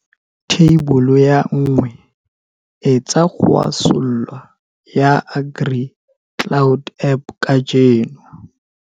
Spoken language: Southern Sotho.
Theibole ya 1, etsa download ya AgriCloud app kajeno.